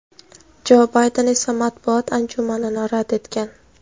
Jo Bayden esa matbuot anjumanini rad etgan.